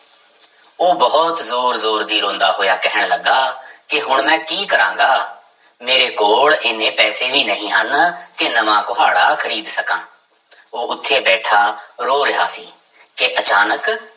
ਉਹ ਬਹੁਤ ਜ਼ੋਰ ਜ਼ੋਰ ਦੀ ਰੋਂਦਾ ਹੋਇਆ ਕਹਿਣ ਲੱਗਾ ਕਿ ਹੁਣ ਮੈਂ ਕੀ ਕਰਾਂਗਾ, ਮੇਰੇ ਕੋਲ ਇੰਨੇ ਪੈਸੇ ਵੀ ਨਹੀਂ ਹਨ ਕਿ ਨਵਾਂ ਕੁਹਾੜਾ ਖ਼ਰੀਦ ਸਕਾਂ ਉਹ ਉੱਥੇ ਬੈਠਾ ਰੋ ਰਿਹਾ ਸੀ ਕਿ ਅਚਾਨਕ